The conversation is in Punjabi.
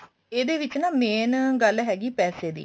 ਇਹਦੇ ਵਿੱਚ ਨਾ main ਗੱਲ ਹੈਗੀ ਪੈਸੇ ਦੀ